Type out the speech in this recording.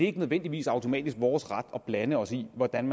ikke nødvendigvis automatisk vores ret at blande os i hvordan